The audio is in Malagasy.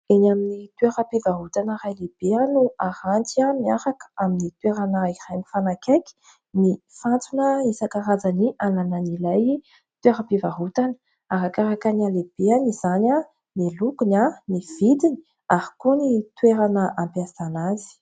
Eny amin'ny toeram-pivarotana iray lehibe no aranty miaraka amin'ny toerana iray mifanakaiky ny fantsona isan-karazany ananan' ilay toeram-pivarotana. Arakaraka ny halehibeny izany, ny lokony, ny vidiny ary koa ny toerana ampiasana azy.